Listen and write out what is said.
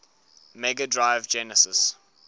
mega drive genesis